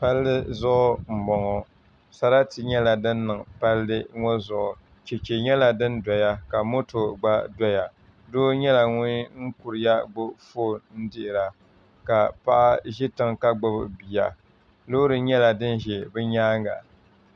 Palli zuɣu n boŋo sarati nyɛla din niŋ palli ŋo zuɣu Chɛchɛ nyɛla din doya ka moto gba doya doo nyɛla ŋun kuriya gbubi foon n dihira ka paɣa ʒi tiŋ ka gbubi bia loori nyɛla din ʒɛ bi nyaanga